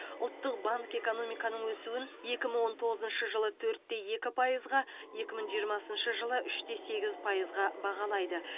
ұлттық банк экономиканың өсуін екі мың он тоғызыншы жылы төртте екі пайызға екі мың жиырмасыншы жылы үште сегіз пайызға бағалайды